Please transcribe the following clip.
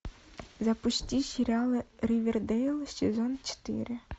запусти сериалы ривердейл сезон четыре